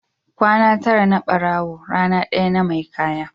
Kwana tara na barawo rana ɗaya na mai kaya.